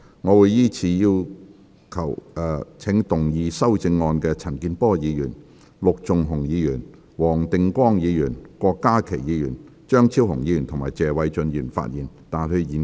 我會依次請要動議修正案的陳健波議員、陸頌雄議員、黃定光議員、郭家麒議員、張超雄議員及謝偉俊議員發言，但他們在現階段不可動議修正案。